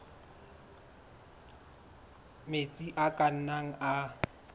metsi a ka nnang a